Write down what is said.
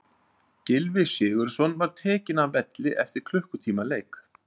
Gylfi Sigurðsson var tekinn af velli eftir klukkutíma leik.